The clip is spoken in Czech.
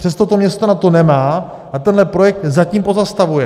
Přesto to město na to nemá a tenhle projekt zatím pozastavuje.